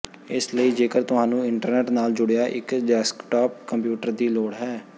ਇਸ ਲਈ ਜੇਕਰ ਤੁਹਾਨੂੰ ਇੰਟਰਨੈੱਟ ਨਾਲ ਜੁੜਿਆ ਇੱਕ ਡੈਸਕਟਾਪ ਕੰਪਿਊਟਰ ਦੀ ਲੋੜ ਹੈ